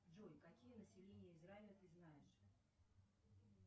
джой какие населения израиля ты знаешь